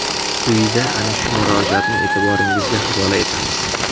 Quyida ana shu murojaatni e’tiboringizga havola etamiz.